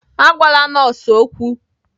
Agwala nọọsụ okwu!